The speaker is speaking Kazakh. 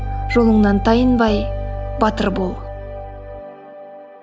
жолыңнан тайынбай батыр бол